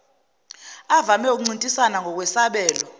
avame ukuncintisana ngokwesabelo